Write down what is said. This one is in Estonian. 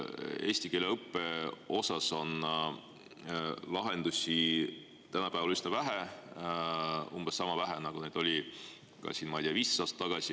Eesti keele õppe osas on lahendusi tänapäeval üsna vähe, umbes sama vähe, nagu neid oli ka, ma ei tea, 15 aastat tagasi.